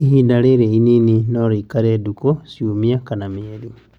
Ihinda rĩrĩ inini norĩikare ndukũ, ciumia kana mĩeri